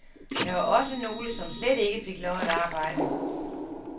Der var også nogle, som slet ikke fik lov at arbejde.